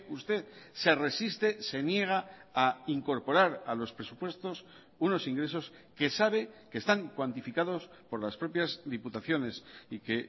usted se resiste se niega a incorporar a los presupuestos unos ingresos que sabe que están cuantificados por las propias diputaciones y que